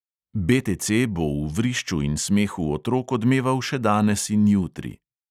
BTC bo v vrišču in smehu otrok odmeval še danes in jutri.